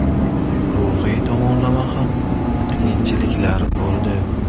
Ruhiy tomonlama ham qiyinchiliklar bo‘ldi.